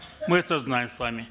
мы это знаем с вами